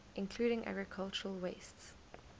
including agricultural wastes